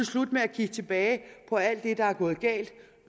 slut med at kigge tilbage på alt det der er gået galt